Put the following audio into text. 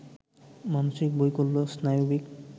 মানসিক বৈকল্য, স্নায়বিক